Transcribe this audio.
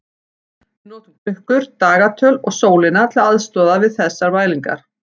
Við notum klukkur, dagatöl og sólina til aðstoðar við þessar mælingar.